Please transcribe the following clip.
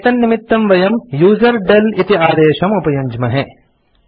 एतन्निमित्तं वयम् यूजरडेल इति आदेशम् उपयुञ्ज्महे